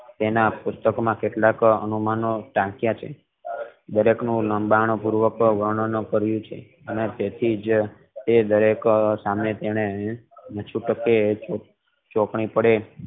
તેના પુસ્તક માં કેટલા કે અનુમાનો અપીયા છે ઊંડાણ પૂર્વક વર્ણન કરિયું છે અને તે થી જ દરેક સામે તેણે ચોકડી પડે